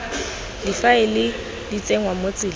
difaele di tsenngwa mo tseleng